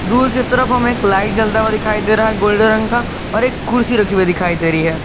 दूर की तरफ हमें एक लाइट जलता हुआ दिखाई दे रहा है गोल्डन रंग का और एक कुर्सी रखे हुए दिखाई दे रही है।